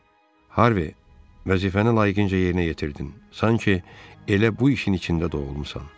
Harvi, vəzifəni layiqincə yerinə yetirdin, sanki elə bu işin içində doğulmusan.